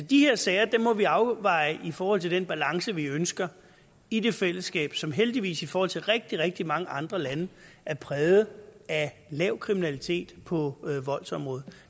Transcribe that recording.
de her sager må vi afveje i forhold til den balance vi ønsker i det fællesskab som heldigvis i forhold til rigtig rigtig mange andre lande er præget af lav kriminalitet på voldsområdet